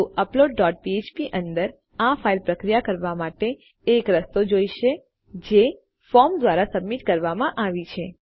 તો upload dot ફ્ફ્પ અંદર આપણને આ ફાઇલ પ્રક્રિયા કરવા માટે એક રસ્તો જોઇશે જે આપણા ફોર્મ દ્વારા સબમિટ કરવામાં આવી છે